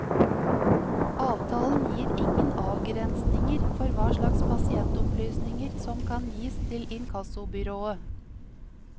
Avtalen gir ingen avgrensninger for hva slags pasientopplysninger som kan gis til inkassobyrået.